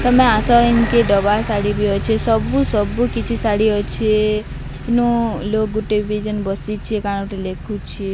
ତମେ ଆସ ଇନ୍କି ଡବାର୍ ଶାଢ଼ୀ ବି ଅଛି ସବୁ ସବୁ କିଛି ଶାଢ଼ୀ ଅଛେ ଇନୋ ଲୋଗ୍ ଗୁଟେ ବି ଜନ୍ ବସିଛେ କାଣ ଗୁଟେ ଲେଖୁଛି।